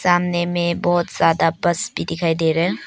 सामने में बहोत ज्यादा बस भी दिखाई दे रहे --